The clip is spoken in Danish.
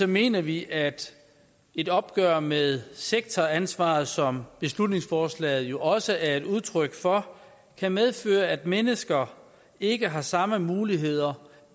mener vi at et opgør med sektoransvaret som beslutningsforslaget jo også er et udtryk for kan medføre at mennesker ikke har samme muligheder